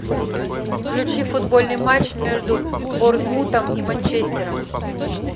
включи футбольный матч между борнмутом и манчестером